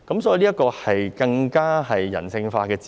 所以，這是更人性化的用詞。